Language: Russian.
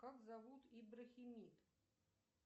как зовут иброхимит